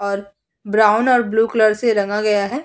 और ब्राउन और blue colour से रंगा गया है।